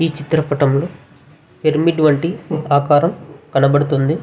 ఈ చిత్రపటంలో పిరమిడ్ వంటి ఆకారం కనపడతుంది.